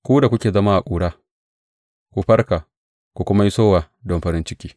Ku da kuke zama a ƙura, ku farka ku kuma yi sowa don farin ciki.